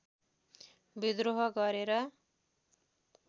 विद्रोह गरेर